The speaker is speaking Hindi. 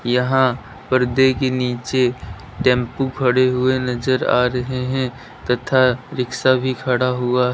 यहां पर्दे के नीचे टेंपो खड़े हुए नजर आ रहे हैं तथा रिक्शा भी खड़ा हुआ--